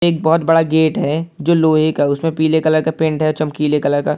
एक बहुत बड़ा गेट है जो लोहे का है उसमें पीले कलर का पेंट है चमकीले कलर का।